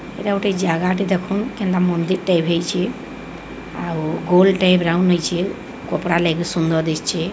ଏଟା ଗୋଟେ ଜାଗା ଟେ ଦେଖନ କେନ୍ତା ମନ୍ଦିର ଟେ ଏଭେ ହେଇଚି ଆଉ ଗୋଲ ଟେ ବ୍ରଉନ ହେଇଚି କପଡା ଲାଗି ସୁନ୍ଦର ଦିଶଛି।